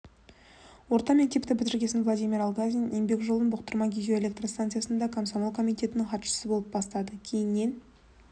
орта мектепті бітіргесін владимир алгазин еңбек жолын бұқтырма гидроэлектр станциясында комсомол комитетінің хатшысы болып бастады кейіннен